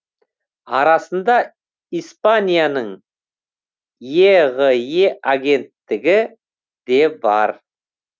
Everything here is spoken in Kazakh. арасында испанияның еғе агенттігі де бар